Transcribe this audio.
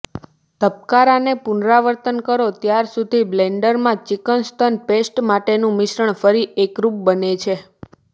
ધબકારાને પુનરાવર્તન કરો ત્યાં સુધી બ્લેન્ડરમાં ચિકન સ્તન પેસ્ટ માટેનું મિશ્રણ ફરી એકરૂપ બને છે